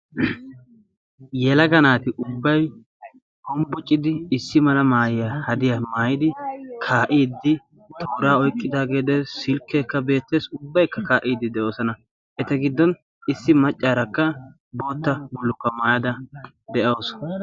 yelaga naati ubbai hombbuciddi issi mala maayiyaa hadiyaa maayidi kaa7iiddi tooraa oiqqidaageedes silkkeekka beetteessi ubbaikka kaa7iiddi de7oosana. eta giddon issi maccaarakka bootta bulkka maayada de7awusu.